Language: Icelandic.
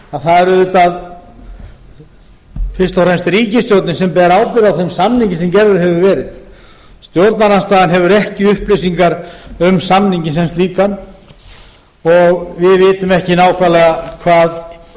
að það er fyrst og fremst ríkisstjórnin sem ber ábyrgð á þeim samningi sem gerður hefur verið stjórnarandstaðan hefur ekki nægar upplýsingar um hann og við vitum ekki nákvæmlega hvað